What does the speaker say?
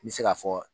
N bɛ se ka fɔ